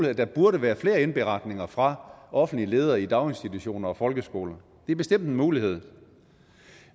at der burde være flere indberetninger fra offentlige ledere i daginstitutioner og folkeskoler det er bestemt en mulighed